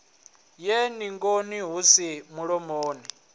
ye ningoni hu si mulomoni